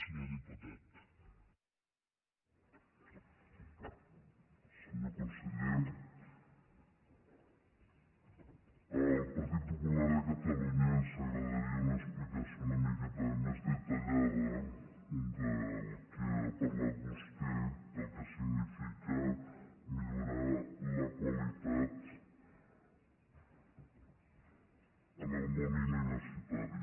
senyor conseller al partit popular de catalunya ens agradaria una explicació una miqueta més detallada del que ha parlat vostè del que significa millorar la qualitat en el món universitari